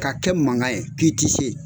Ka kɛ mankan ye k'i ti se